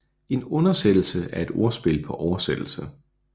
En undersættelse er et ordspil på oversættelse